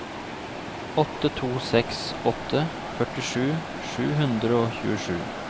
åtte to seks åtte førtisju sju hundre og tjuesju